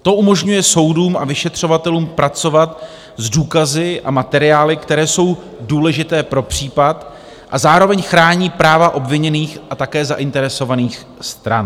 To umožňuje soudům a vyšetřovatelům pracovat s důkazy a materiály, které jsou důležité pro případ, a zároveň chrání práva obviněných a také zainteresovaných stran.